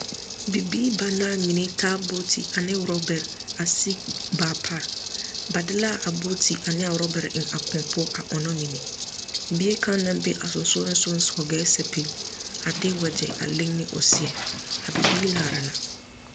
Bibiiri banaare mine taa booti ane orɔbɛre a siì baa pare. Ba de la abooti ane orɔbɛre a eŋ a kõɔ poɔ a ɔnnɔ mine. Bie kaŋ naŋ be a sonsogelensoga hɔgɛɛ sapigi, a de wagyɛ leŋne o seɛ. A bibiiri laara la.